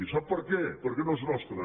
i sap per què perquè no és nostre